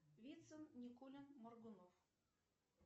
вицин никулин моргунов